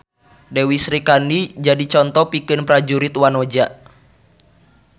Dewi Srikandi jadi conto pikeun prajurit wanoja.